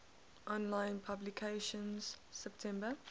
online publication september